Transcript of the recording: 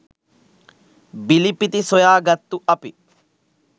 බිලිපිති සොයා ගත්තු අපි